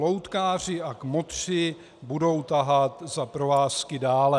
Loutkáři a kmotři budou tahat za provázky dále."